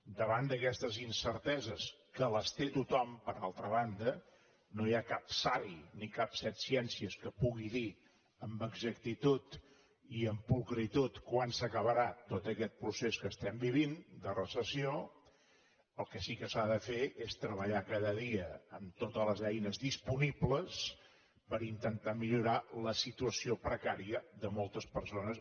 davant d’aquestes incerteses que les té tothom per altra banda no hi ha cap savi ni cap setciències que pugui dir amb exactitud i amb pulcritud quan s’acabarà tot aquest procés que estem vivint de recessió el que sí que s’ha de fer és treballar cada dia amb totes les eines disponibles per intentar millorar la situació precària de moltes persones